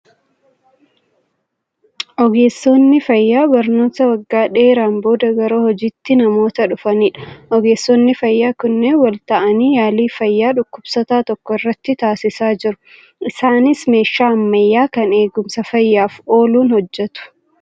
Ogeessonni fayyaa barnoota waggaa dheeraan booda gara hojiitti namoota dhufanidha. Ogeessonni fayyaa kunneen wal ta'anii yaalii fayyaa dhukkubsataa tokko irratti taasisaa jiru. Isaanis meeshaa ammayyaa kan eegumsa fayyaaf ooluun hojjetu.